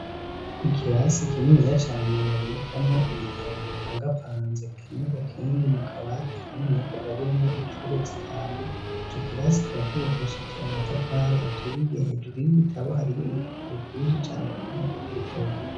Ikirasi kinini ya cane babikamwo ibitabo bipangapanze kinyuko kindi mu kabate, kandi ni ya akagabuyemo icuro zitanu ico kirasi kawacurokesheje amatafari aturiye hejuru y'ibitabo hariyo ibipukuru vyinshi cane binom ibindi bitabo vyinji.